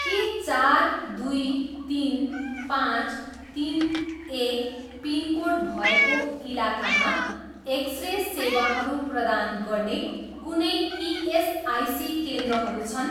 के चार, दुई, तिन, पाँच, तिन, एक पिनकोड भएको इलाकामा एक्स रे सेवाहरू प्रदान गर्ने कुनै इएसआइसी केन्द्रहरू छन्?